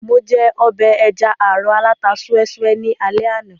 Mo jẹ ọbẹ̀ ẹja-àrọ̀ aláta súẹ́ súẹ́ ní alé àná